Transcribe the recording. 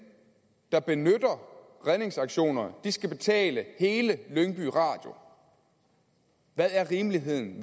der benytter redningsaktioner skal betale hele lyngby radio hvad er rimeligheden